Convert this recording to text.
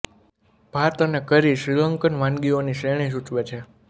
ભાત અને curry Sri Lankan વાનીઓની શ્રેણી સૂચવે છે